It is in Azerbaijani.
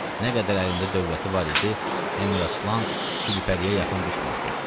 Nə qədər əlində dövləti var idi, Əmiraslan Gülpəriyə yaxın düşmürdü.